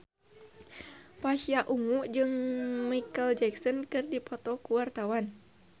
Pasha Ungu jeung Micheal Jackson keur dipoto ku wartawan